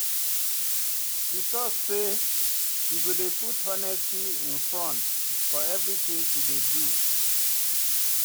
She tok sey she go dey put honesty in front for everytin she dey do.